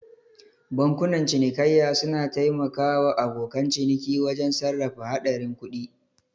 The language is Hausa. Bankunan cinikayya suna taimaka wa abokan ciniki wajen sarrafa haɗarin kuɗi.